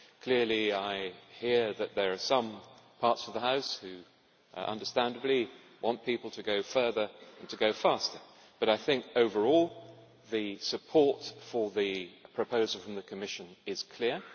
Clearly I hear that there are some parts of the House which understandably want people to go further and to go faster, but I think overall the support for the proposal from the Commission is clear.